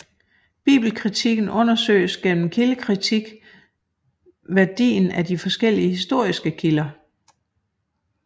Bibelkritikken undersøges gennem kildekritik værdien af de forskellige historiske kilder